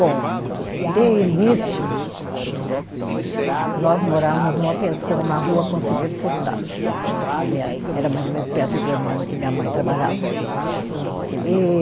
Bom, de início, nós morávamos numa pensão na rua Conselheiro Furtado, que minha, era mais ou menos perto de onde minha, minha mãe trabalhava. E